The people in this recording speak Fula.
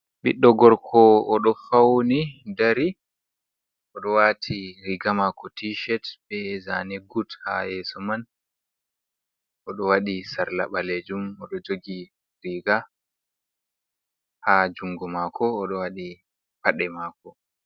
Ɓiɗdo gorko oɗo fauni dari, oɗo wati riga mako tishet be zani gut ha yeso man oɗo wadi sarla ɓalejum oɗo jogi riga ha jungo mako oɗo waɗi paɗe mako.